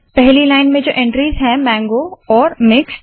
पहली लाइन में जो एंट्रीज़ है मांगो और मिक्स्ड